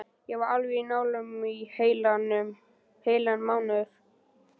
Ég var alveg á nálum í heilan mánuð.